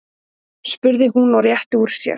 spurði hún og rétti úr sér.